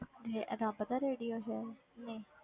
ਇਹ ਰੱਬ ਦਾ radio ਸੀ, ਨਹੀਂ